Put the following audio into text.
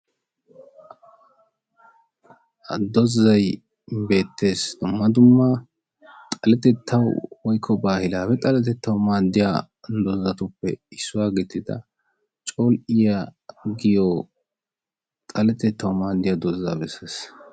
ha dozzay beettes. dumma dumma xaletettawu woyikko baahilaawe xaletettawu maaddiya dozzatuppe issuwa gidida col'iya giyo xaletettawu maaddiya dozzaa besses.